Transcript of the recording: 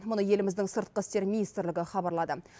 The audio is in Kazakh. мұны еліміздің сыртқы істер министрлігі хабарлады